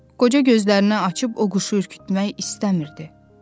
Qoca gözlərini açıb o quşu ürkütmək istəmirdi.